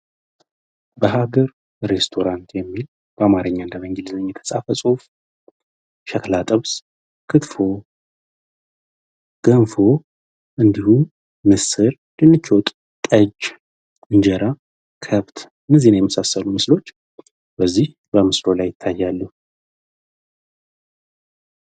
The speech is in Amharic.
በሀገር ሬስቶራንት የሚል በአማርኛና በእንግሊዝኛ የተጻፈ ጽሁፍ ጥብስ ክትፎ ገንፎ ምስር እንዲሁም ድንች ወጥ እንጀራ ከብት የመሳሰሉ ምስሎች በዚህ በምስሉ ላይ ይታያሉ።